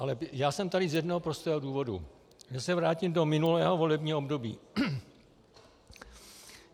Ale já jsem tady z jednoho prostého důvodu - že se vrátím do minulého volebního období.